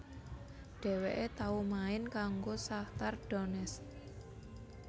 Dhèwèké tau main kanggo Shakhtar Donetsk